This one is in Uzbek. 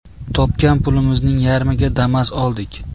Topgan pulimizning yarmiga Damas oldik.